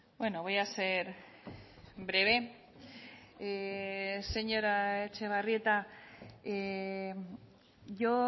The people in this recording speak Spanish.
bueno voy a ser breve señora etxebarrieta yo